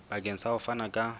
bakeng sa ho fana ka